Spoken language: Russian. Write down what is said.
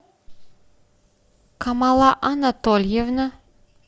камала анатольевна